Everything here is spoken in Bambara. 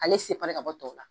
Ale ka bɔ tɔw la